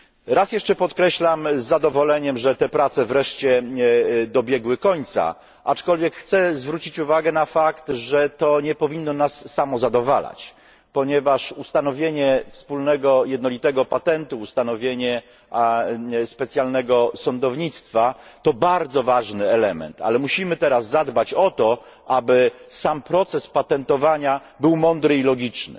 Raz jeszcze podkreślam z zadowoleniem, że te prace wreszcie dobiegły końca, aczkolwiek chcę zwrócić uwagę na fakt, że to nie powinno nas samozadowalać, ponieważ ustanowienie wspólnego jednolitego patentu, ustanowienie specjalnego sądownictwa to bardzo ważny element, ale musimy teraz zadbać o to, aby sam proces patentowania był mądry i logiczny,